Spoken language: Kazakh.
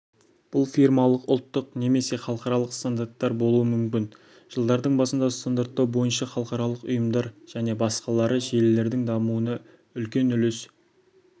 бұл фирмалық ұлттық немесе халықаралық стандарттар болуы мүмкін жылдардың басында стандарттау бойынша халықаралық ұйымдар және басқалары желілердің дамуына үлкен үлес